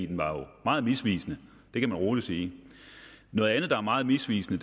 den var jo meget misvisende kan man roligt sige noget andet der er meget misvisende